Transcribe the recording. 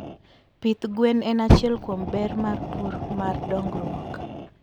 pith gwen en achiel kuom berr mar pur mardongruoko